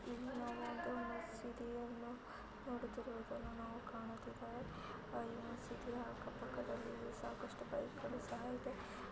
ಇಲ್ಲಿ ನಾವು ಒಂದು ಮಸೀದಿಯನ್ನು ನ್ ನೋಡುತ್ತಿರುವುದನ್ನು ನಾವು ಕಾಣುತ್ತಿವೆವು. ಮಸೀದಿಯ ಅಕ್ಕ ಪಕ್ಕದಲ್ಲಿ ಸಾಕಷ್ಟು ಬೈಕ್ ಗಳು ಸಹ ಇದೆ.